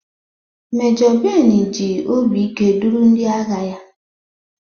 Mejo Ben ji obi ike duru ndị agha ya.